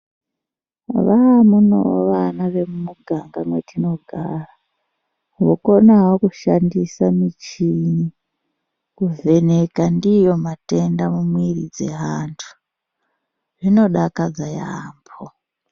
Neamweniwo vana vemumuganga mwetinogara, vokonawo kushandisa michini, kuvheneka ndiyo matenda mumwiiri dzeantu. Zvinodakadza yaampho.